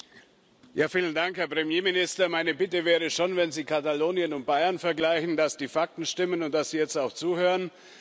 Herr Präsident! Herr Premierminister! Meine Bitte wäre schon, wenn Sie Katalonien und Bayern vergleichen, dass die Fakten stimmen und dass Sie jetzt auch zuhören.